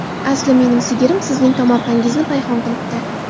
Asli mening sigirim sizning tomorqangizni payhon qilibdi.